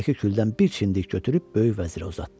İçindəki küldən bir çimdik götürüb böyük vəzirə uzatdı.